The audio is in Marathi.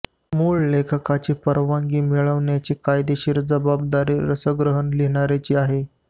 मूळ लेखकाची परवानगी मिळवण्याची कायदेशीर जबाबदारी रसग्रहण लिहिणार्याची आहे